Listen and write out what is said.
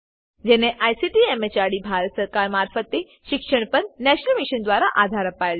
જેને ICT MHRD Bharat સરકાર મારફતે શિક્ષણ પર નેશનલ મિશન દ્વારા આધાર અપાયેલ છે